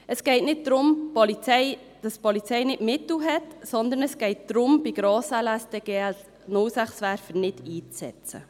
Es geht nicht darum, dass die Polizei keine Mittel hat, sondern es geht darum, bei Grossanlässen den GL06-Werfer nicht einzusetzen.